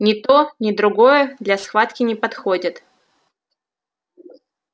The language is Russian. ни то ни другое для схватки не подходит